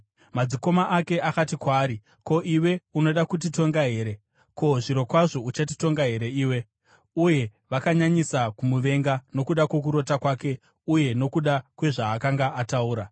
Madzikoma ake akati kwaari, “Ko, iwe unoda kutitonga here? Ko, zvirokwazvo uchatitonga here iwe?” Uye vakanyanyisa kumuvenga nokuda kwokurota kwake uye nokuda kwezvaakanga ataura.